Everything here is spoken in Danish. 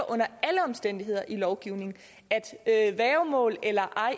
under alle omstændigheder ligger i lovgivningen værgemål eller ej